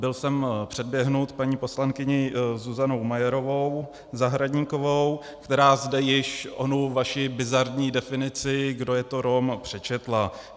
Byl jsem předběhnut paní poslankyní Zuzanou Majerovou Zahradníkovou, která zde již onu vaši bizarní definici, kdo je to Rom, přečetla.